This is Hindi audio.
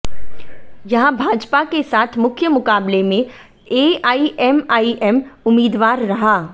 यहां भाजपा के साथ मुख्य मुकाबले में एआईएमआईएम उम्मीदवार रहा